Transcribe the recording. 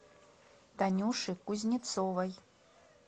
танюши кузнецовой